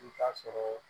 I t'a sɔrɔ